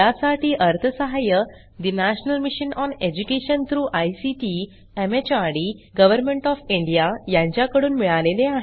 यासाठी अर्थसहाय्य national mission on education through ICT MHRD government of India यांच्याकडून मिळालेले आहे